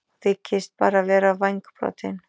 Hún þykist bara vera vængbrotin.